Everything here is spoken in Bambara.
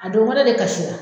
A don wɛrɛ de kasira